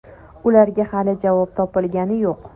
Ularga hali javob topilgani yo‘q.